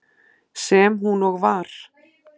Sem hún og var.